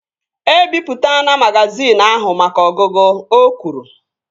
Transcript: E bipụtana magazin ahụ maka ọgụgụ! O kwuru